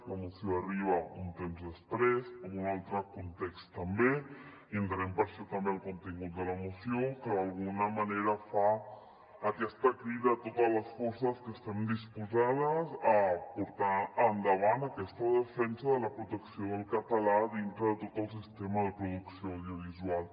la moció arriba un temps després en un altre context també i entenem per això també el contingut de la moció que d’alguna manera fa aquesta crida a totes les forces que estem disposades a portar endavant aquesta defensa de la protecció del català dintre de tot el sistema de producció audiovisual